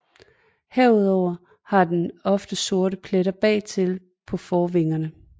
Herudover har den ofte sorte pletter bagtil på forvingerne